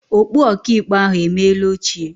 Okpu ọkaikpe ahụ emeela ochie.